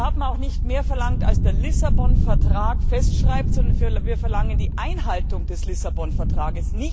Wir haben auch nicht mehr verlangt, als der Lissabon Vertrag festschreibt, sondern wir verlangen die Einhaltung des Lissabon Vertrags.